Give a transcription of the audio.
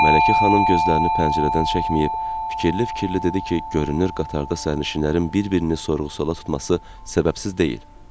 Mələkə xanım gözlərini pəncərədən çəkməyib, fikirli-fikirli dedi ki, görünür qatarda sərnişinlərin bir-birini sorğu-suala tutması səbəbsiz deyil.